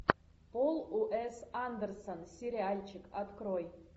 пол уэс андерсон сериальчик открой